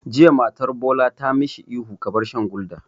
Jiya matar Bola ta ma shi ihu 'Ka bar shan Gulder'!